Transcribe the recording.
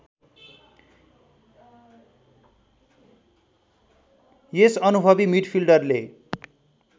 यस अनुभवि मिडफील्डरले